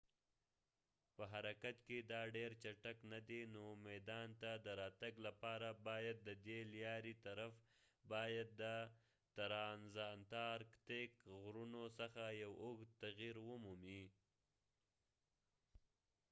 په حرکت کې دا ډیر چټک ندی نو میدان ته د راتګ لپاره باید ددې لیارې طرف باید د ترانزانتارکتیک غرونو څخه یو اوږد تغیر ومومي